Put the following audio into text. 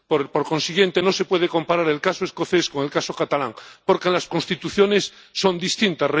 Por consiguiente, no se puede comparar el caso escocés con el caso catalán, porque las Constituciones son distintas.